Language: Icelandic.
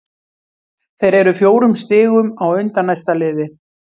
Þeir eru fjórum stigum á undan næsta liði.